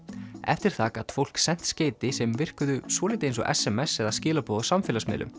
eftir það gat fólk sent skeyti sem virkuðu svolítið eins og s m s eða skilaboð á samfélagsmiðlum